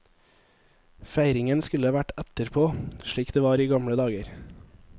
Feiringen skulle vært etterpå, slik det var i gamle dager.